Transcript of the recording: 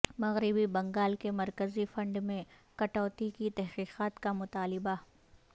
مغربی بنگال کے مرکزی فنڈ میں کٹوتی کی تحقیقات کا مطالبہ